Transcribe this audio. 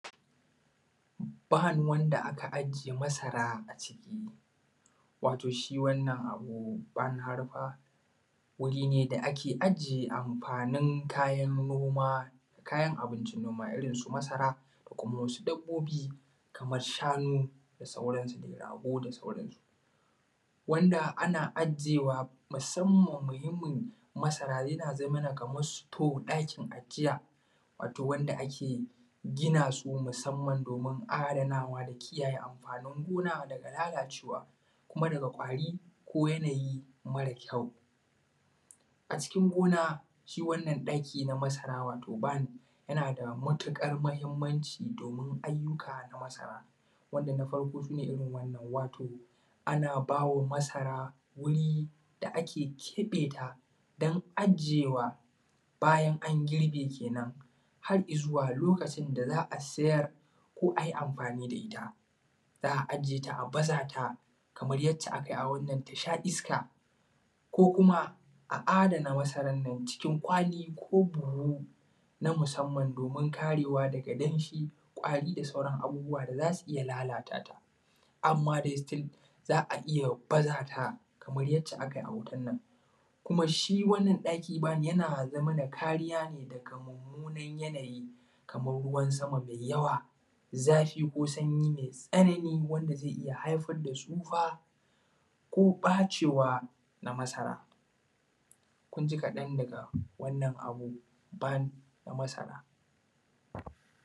Ban wanda aka aje masara a ciki, wato shi wannan abu ban harma wuri ne da ake aje amfanin noma kayan abincin noma irrin su masara da kuma wasu dabbobi Kaman shanu da da sauransu rago da sauransu. Wanda ana ajewa musamman mahimmin masara yana zamana Kaman suto ɗakin ajiya wanda ake gina su musamman domin adanawa kiyaye amfanin gona daga lalacewa kuma daga kwari ko yanayi mare kyau. A cikin gona shi wannan ɗaki na masara wato Ban yanada matuƙar mahimmanci domin ayyuka na masara wanda na farko a irrin wannan. Ana bawa masara wuri da ake keɓeta dan ajiyewa bayan an girbe kenan har izuwa lokacin da za’a sayar ko ai amfani da itta. Za’a ajeta a bazata kamar yanda akayi a wannan tasha iska ko kuma a dana masarannan cikin kwali ko buhu na musamman domin karewa daga danshi, kwari da sauran abubuwa da zasu iyya lalatata. Amma dai sitil za’a iyya bazata Kaman yacce akayi a hotonnan shiwannan ɗaki Ban yana da kariya daga mummunan yanayi Kaman ruwan sama mai yawa, zafi ko sanyi mai tsanani wanda zai iyya haifar da tsufa ko ɓacewa na masara kunji kaɗan daga wannan abu Ban na masara.